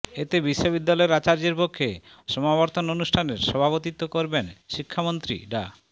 এতে বিশ্ববিদ্যালয়ের আচার্যের পক্ষে সমাবর্তন অনুষ্ঠানের সভাপতিত্ব করবেন শিক্ষামন্ত্রী ডা